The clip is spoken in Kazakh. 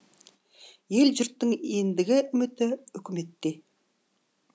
ел жұрттың ендігі үміті үкіметте